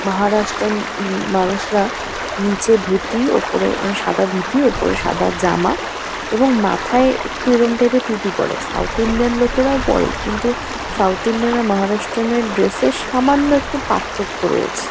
মহারাষ্ট্রন উম মানুষরা নীচে ধুতি ওপরে মানে সাদা ধুতি ওপরে সাদা জামা এবং মাথায় একটু এরম টাইপ - এর টুপি পরে। সাউথ ইন্ডিয়ান লোকেরাও পরে। কিন্তু সাউথ ইন্ডিয়ান আর মহারাষ্ট্রন- এর ড্রেস - এ সামান্য একটু পার্থক্য রয়েছে।